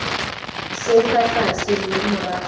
se fa tlase mme morago